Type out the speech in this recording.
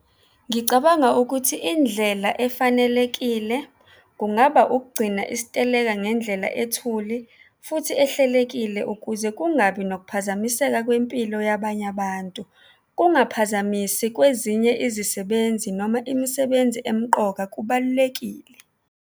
Ngicabanga ukuthi indlela efanelekile kungaba ukugcina isiteleka ngendlela ethule futhi ehlelekile ukuze kungabi nokuphazamiseka kwempilo yabanye abantu. Kungaphazamisi kwezinye izisebenzi noma imisebenzi emqoka kubalulekile.